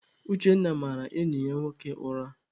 Uchenna mara enyi ya nwoke ụra.